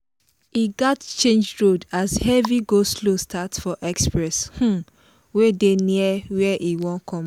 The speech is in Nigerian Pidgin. e gats change road as heavy go-slow start for express um wey dey near where e wan comot